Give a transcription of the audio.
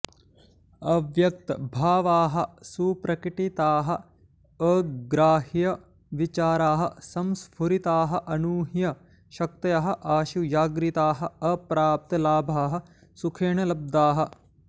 अव्यक्त भावाः सुप्रकटिताः अग्राह्य विचाराः संस्फुरिताः अनूह्य शक्तयः आशु जाग्रताः अप्राप्त लाभाः सुखेन लब्धाः